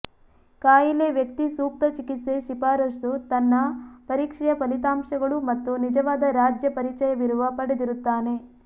ಕಾಯಿಲೆ ವ್ಯಕ್ತಿ ಸೂಕ್ತ ಚಿಕಿತ್ಸೆ ಶಿಫಾರಸು ತನ್ನ ಪರೀಕ್ಷೆಯ ಫಲಿತಾಂಶಗಳು ಮತ್ತು ನಿಜವಾದ ರಾಜ್ಯ ಪರಿಚಯವಿರುವ ಪಡೆದಿರುತ್ತಾನೆ